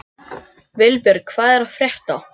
Vilbjörn, hvað er að frétta?